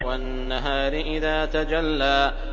وَالنَّهَارِ إِذَا تَجَلَّىٰ